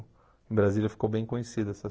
Em Brasília ficou bem conhecida essas